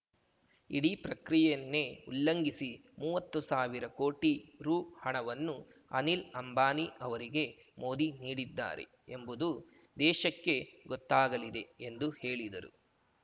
ಇಡೀ ಪ್ರಕ್ರಿಯೆಯನ್ನೇ ಉಲ್ಲಂಘಿಸಿ ಮುವತ್ತು ಸಾವಿರ ಕೋಟಿ ರು ಹಣವನ್ನು ಅನಿಲ್‌ ಅಂಬಾನಿ ಅವರಿಗೆ ಮೋದಿ ನೀಡಿದ್ದಾರೆ ಎಂಬುದು ದೇಶಕ್ಕೆ ಗೊತ್ತಾಗಲಿದೆ ಎಂದು ಹೇಳಿದರು